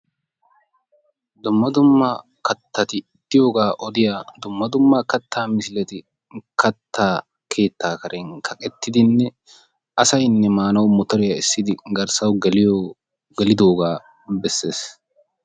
Dumma dumma kattati diyogaa odiya dumma dumma kattaa misileti kattaa keettaa karen kaqqettidinne asaynne maanawu mottoriya essidi garssawu geliddooga bessees.